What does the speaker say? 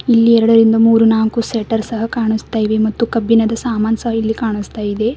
ಇಲ್ಲಿ ಎರಡರಿಂದ ಮೂರು ನಾಲ್ಕು ಶಟರ್ ಸಹ ಕಾಣಸ್ತಾ ಇವೆ ಮತ್ತು ಕಬ್ಬಿಣದ ಸಾಮಾನ ಸಹ ಇಲ್ಲಿ ಕಾಣಸ್ತಾ ಇದೆ.